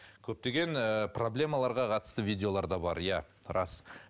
көптеген ыыы проблемаларға қатысты видеолар да бар иә рас